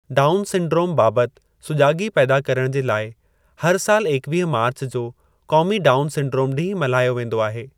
Down syndrome बाबति सुजाॻी पैदा करणु जे लाइ हर साल एकवीह मार्च जो क़ौमी डाउन सिंड्रोम डीं॒हुं मल्हायो वेंदो आहे।